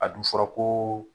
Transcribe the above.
A dun fɔra kooo